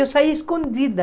Eu saía escondida.